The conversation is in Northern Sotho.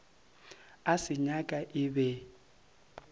a se nyaka e be